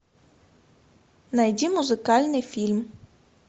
найди музыкальный фильм